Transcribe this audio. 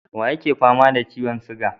Waye yake fama da ciyon siga?